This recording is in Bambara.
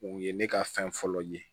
U ye ne ka fɛn fɔlɔ ye